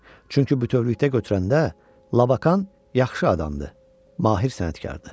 Çünki bütövlükdə götürəndə Labakan yaxşı adamdır, mahir sənətkardır.